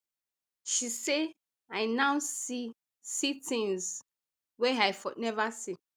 she say i now see see tins wey i for neva see